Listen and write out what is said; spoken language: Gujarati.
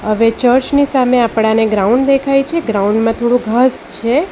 ચર્ચની સામે આપણાને ગ્રાઉન્ડ દેખાય છે ગ્રાઉન્ડ માં થોડું ઘાસ છે.